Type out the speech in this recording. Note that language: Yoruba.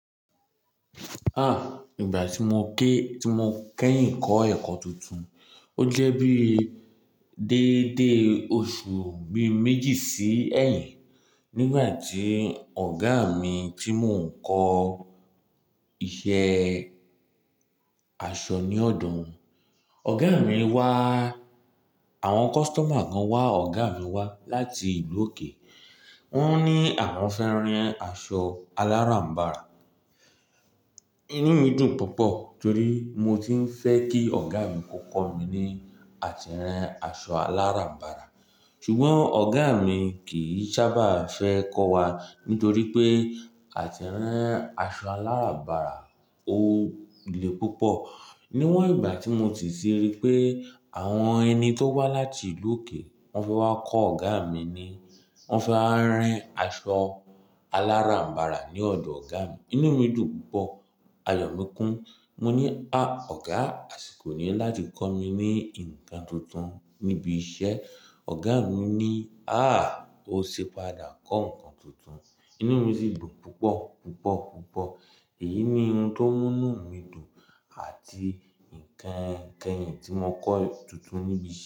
Ah! Ìgbà tí mo ké-- tí mo kẹ́yìn kọ́ ẹ̀kọ́ tuntun, ó jẹ́ bíi dédé oṣù bíi méjì sí ẹ́yìn. Nígbà tí ọ̀gá mi tí mò ń kọ́ iṣẹ́ aṣọ ní ọ̀dọ̀ wòn. Ọ̀gá mi wá-- àwọn customer kan wá ọ̀gá mi wá láti ìlú òkè. Wọ́n ní àwọn fẹ́ ran aṣọ aláràǹbarà. Inú mi dùn púpọ̀ torí mo ti ń fẹ́ kí ọ̀gá mi kó kọ́ mi ní àtìran aṣọ aláràǹbarà. Ṣùgbọ́n ọ̀gá mi kì í sábà fẹ́ kọ́ wa nítorí pé àtìran aṣọ aláràǹbarà ò le púpọ̀. Niwọn ìgbà tí mo sì ti rí pé àwọn ẹni tó wá láti ìlú òkè wọ́n fẹ́ wá kọ́ ọ̀gá mi ni, wọ́n fẹ́ wá ran aṣọ aláràǹbarà ní ọ̀dọ̀ ọ̀gá mi. Inú mi dùn púpọ̀, ayọ̀ mi kún. Mo ní, "à, ọ̀gá, àsìkò ni láti kọ́ mi ní ǹkan tuntun níbi iṣẹ́." Ọ̀gá mi ní, "áà, ó ṣi padà kọ́ ǹkan tuntun." Inú mi sì dùn púpọ̀ púpọ̀ púpọ̀. Èyí ni ohun tó mú inú mi dùn àti ǹkan kẹ́yìn tí mo kọ́ tuntun níbi iṣẹ́.